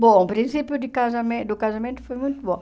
Bom, o princípio de casamen do casamento foi muito bom.